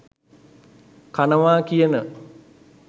කනවා කියන